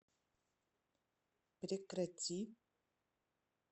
прекрати